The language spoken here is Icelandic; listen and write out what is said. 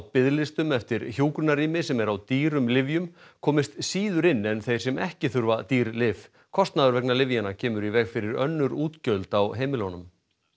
biðlistum eftir hjúkrunarrými sem er á dýrum lyfjum komist síður inn en þeir sem ekki þurfa dýr lyf kostnaður vegna lyfjanna kemur í veg fyrir önnur útgjöld á heimilunum